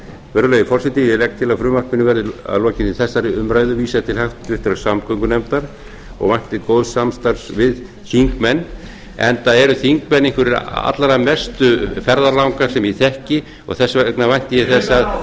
virðulegi forseti ég legg til að frumvarpinu verði að lokinni þessari umræðu vísað til háttvirtrar samgöngunefndar og vænti góðs samstarfs við þingmenn enda eru þingmenn einhverjir allra mestu ferðalangar sem ég þekki og þess vegna vænti ég þess